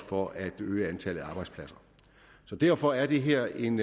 for at øge antallet af arbejdspladser derfor er det her en